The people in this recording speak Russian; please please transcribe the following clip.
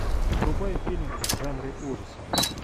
врубай фильм в жанре ужасы